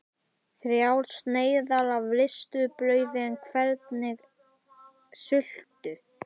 Þrjár sneiðar af ristuðu brauði en hvernig sultu?